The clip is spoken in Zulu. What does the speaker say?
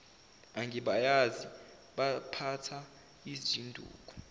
angibayazi baphatha izinduku